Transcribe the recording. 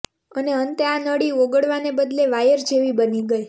અને અંતે આ નળી ઓગળવાને બદલે વાયર જેવી બની ગઇ